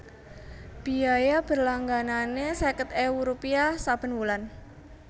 Biaya berlangganané seket ewu rupiah saben wulan